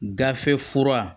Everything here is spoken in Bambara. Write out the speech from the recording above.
Gafe fura